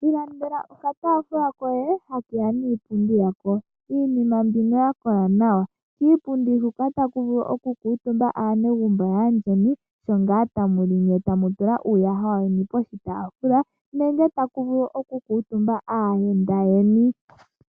Ilandela okatafula koye hake ya niipundi yako iinima mbino ya kola nawa kiipundi hoka taku vulu okukutumba aanegumbo yaayeni sho ngaa tamu li nye tamu tula uuyaha weni poshitafula nenge taku vulu okukuutumba aayenda yeni.